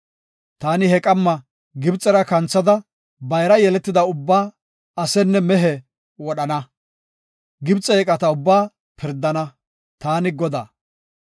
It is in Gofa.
“Taani he qamma Gibxera kanthada bayra yeletida ubbaa, asenne mehe wodhana. Gibxe eeqata ubbaa pirdana; taani Godaa.